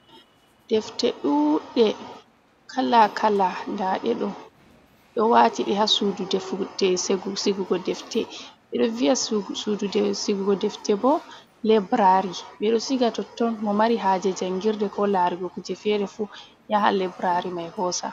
Defte ɗuɗɗe kala kala nda ɗe ɗo ɗo wati e ha sudu sigugo defte ɓe ɗon viya sudu sigugo defte bo, Librari ɓe ɗo siga totton mo mari haje jangirde ko larugo kuje fere fu yaha Librari mai hosa.